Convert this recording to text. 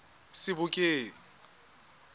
sebokeng